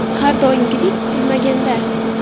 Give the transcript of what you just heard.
Har doimgidek, kutilmaganda.